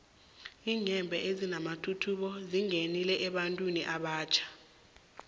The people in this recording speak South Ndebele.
iinyembhe ezinamathuthumbo zingenile ebantwini abatjha